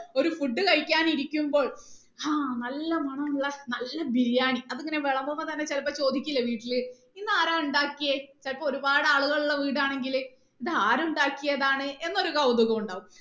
ഒരു food കഴിക്കാൻ ഇരിക്കുമ്പോൾ ആഹ് നല്ല മണമുള്ള നല്ല ബിരിയാണി അത് ഇങ്ങനെ വിളമ്പുമ്പോ തന്നെ ചിലപ്പോ ചോദിക്കില്ലേ വീട്ടില് ഇന്ന് ആരാ ഉണ്ടാക്കിയെ ചിലപ്പോ ഒരുപാട് ആളുകൾ ഉള്ള വീട് ആണെങ്കിൽ ഇത് ആര് ഉണ്ടാക്കിയതാണ് എന്ന് ഒരു കൗതുകം ഉണ്ടാവും